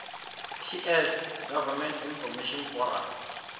ts gov inf form